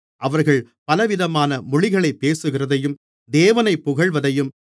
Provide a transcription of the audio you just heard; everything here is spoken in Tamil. அவர்கள் பலவிதமான மொழிகளைப் பேசுகிறதையும் தேவனைப் புகழ்வதையும்